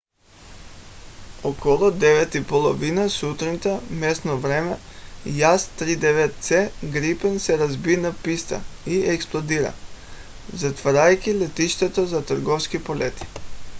около 9:30 сутринта местно време 0230 utc jas 39c gripen се разби на писта и експлодира затваряйки летището за търговски полети